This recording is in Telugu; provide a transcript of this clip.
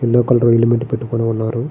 యెల్లో కలర్ హెల్మెంట్ పెట్టుకొని ఉన్నారు.